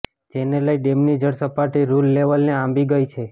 જેને લઇ ડેમની જળ સપાટી રૃલ લેવલને આંબી ગઇ છે